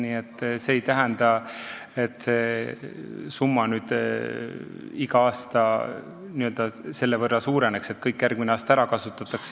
Nii et see ei tähenda, et see summa iga aasta selle võrra suureneks, et kõik järgmine aasta ära kasutataks.